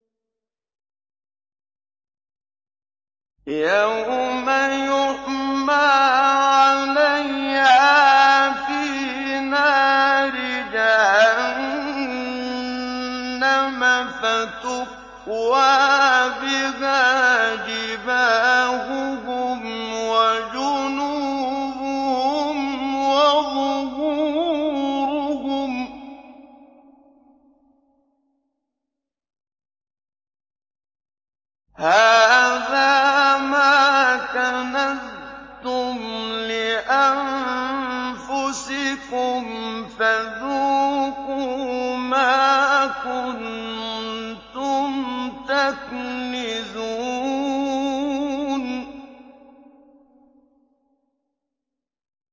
يَوْمَ يُحْمَىٰ عَلَيْهَا فِي نَارِ جَهَنَّمَ فَتُكْوَىٰ بِهَا جِبَاهُهُمْ وَجُنُوبُهُمْ وَظُهُورُهُمْ ۖ هَٰذَا مَا كَنَزْتُمْ لِأَنفُسِكُمْ فَذُوقُوا مَا كُنتُمْ تَكْنِزُونَ